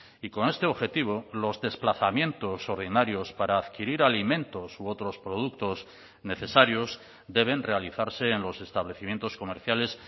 y con este objetivo los desplazamientos ordinarios para adquirir alimentos u otros productos necesarios deben realizarse en los establecimientos comerciales